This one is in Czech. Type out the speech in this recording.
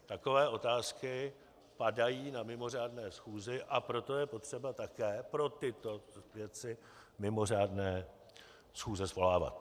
Takové otázky padají na mimořádné schůzi, a proto je potřeba také pro tyto věci, mimořádné schůze svolávat.